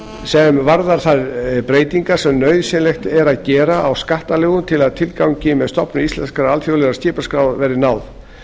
sem varðar þær breytingar sem nauðsynlegt er að gera á skattalögum til að tilgangi með stofnun íslenskrar alþjóðlegrar skipaskrár verði náð